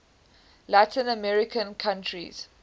latin american countries